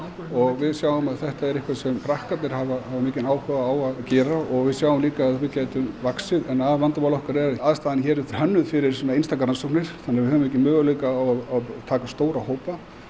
og við sjáum að þetta er eitthvað sem krakkarnir hafa mikinn áhuga á að gera og við sjáum líka að við gætum vaxið en aðalvandamál okkar er að aðstaðan hér er hönnuð fyrir einstakar rannsóknir þannig við höfum ekki möguleika á að taka stóra hópa